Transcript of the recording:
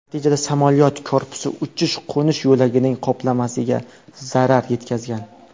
Natijada samolyot korpusi uchish-qo‘nish yo‘lagining qoplamasiga zarar yetkazgan.